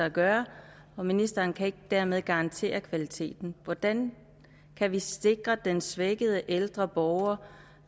at gøre og ministeren kan dermed ikke garantere kvaliteten hvordan kan vi sikre at den svækkede ældre borger